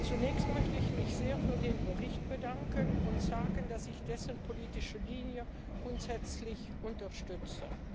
Zunächst möchte ich mich sehr für den Bericht bedanken und sagen, dass ich dessen politische Linie grundsätzlich unterstütze.